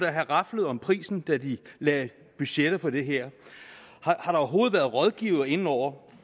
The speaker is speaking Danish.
have raflet om prisen da de lagde budget for det her har der overhovedet været rådgivere inde over